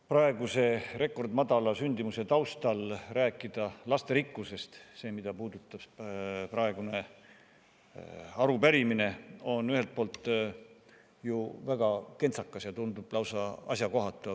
Praeguse rekordmadala sündimuse taustal rääkida lasterikkusest – selle kohta oli tänane arupärimine – on ühelt poolt ju väga kentsakas, see tundub lausa asjakohatu.